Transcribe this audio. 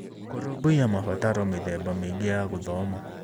Kũrũmbũiya mabataro mĩtheba mĩĩngĩ (ya gũthoma).